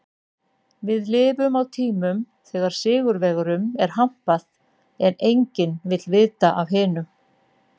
Við lifum á tímum þegar sigurvegurum er hampað en enginn vill af hinum vita.